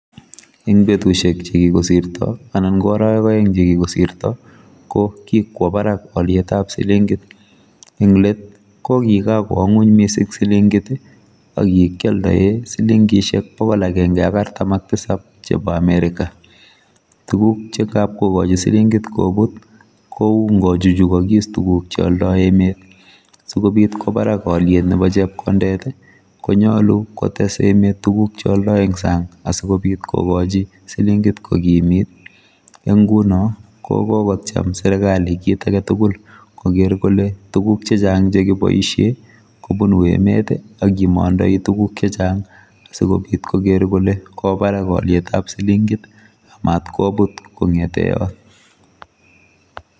Eng betusiek chekikosirto anan koarawek aeng chekikosirto kokikwo barak olietab silingit eng let kokikokwo ngony silingit akikioldoe silingisiek bokol agenge ak artam ak tisap chebo america tuguk chengap kokoch silingit kobut kou ngochuchukis tuguk cheoldoi emet sikobit kwo barak oliet nebo chepkondet konyalu kotes emet tuguk cheoldoi eng sang asikobit kokochi silingit kokimit eng nguno kokokotyem serikali kit aketugul koker kole tuguk chechang chekiboisie kobunu emet akimandai tuguk chechang asikobit koker kole kawobarak olitab silingit matkobut kongete yot.